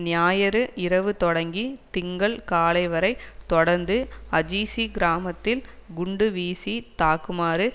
ஞாயிறு இரவு தொடங்கி திங்கள் காலை வரை தொடர்ந்து அஜீசி கிராமத்தில் குண்டு வீசி தாக்குமாறு